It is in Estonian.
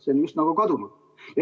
See on just nagu kadunud.